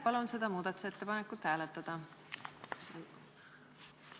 Palun seda muudatusettepanekut hääletada!